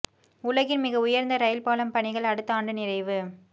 உலகின் மிக உயர்ந்த ரயில் பாலம் பணிகள் அடுத்த ஆண்டு நிறைவு